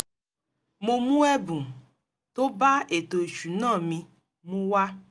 mo mú ẹ̀bùn tó bá ètò ìsúná mi mu wá